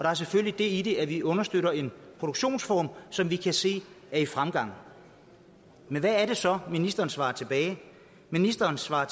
er selvfølgelig det i det at vi understøtter en produktionsform som vi kan se er i fremgang men hvad er det så ministeren svarer ministeren svarer